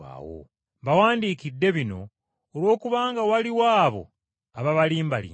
Mbawandiikidde bino olw’okubanga waliwo abo ababalimbalimba.